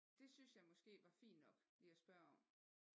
Det synes jeg måske var fint nok lige at spørge om